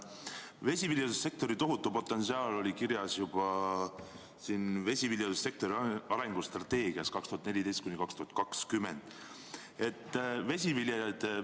Vesiviljelussektori tohutu potentsiaal oli kirjas juba vesiviljelussektori arengustrateegias 2014–2020.